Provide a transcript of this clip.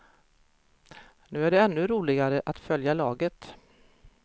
Nu är det ännu roligare att följa laget.